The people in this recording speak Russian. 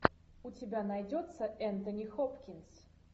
у тебя найдется энтони хопкинс